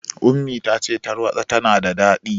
Ummi ta ce tarwaɗa tana da daɗi.